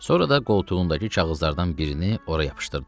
Sonra da qoltuğundakı kağızlardan birini ora yapışdırdı.